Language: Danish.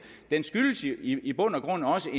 den skyldes i i bund og grund også